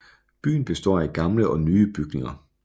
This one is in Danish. Byen består af gamle og nye bygninger